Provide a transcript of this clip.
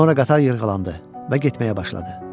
Sonra qatar yırğalandı və getməyə başladı.